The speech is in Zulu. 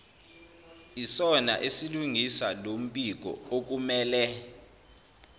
isona esilungisa lombikookumele